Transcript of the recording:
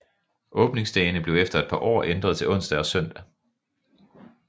Åbningsdagene blev efter et par år ændret til onsdag og søndag